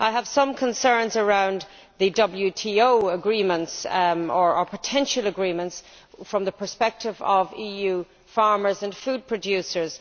I have some concerns regarding the WTO agreements or potential agreements from the perspective of EU farmers and food producers.